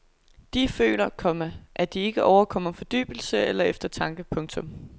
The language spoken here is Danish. Der føler, komma at de ikke overkommer fordybelse eller eftertanke. punktum